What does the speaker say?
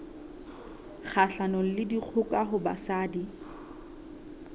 kgahlanong le dikgoka ho basadi